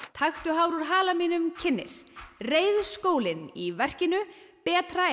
taktu hár úr hala mínum kynnir reiðskólinn í verkinu betra er